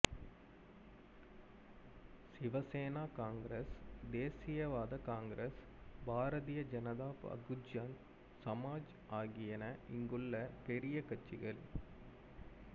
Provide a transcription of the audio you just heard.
சிவ Sena Congress தேசியவாத Congress Bharatiya Janata Bahujan Samaj ஆகியன இங்குள்ள பெரிய கட்சிகள்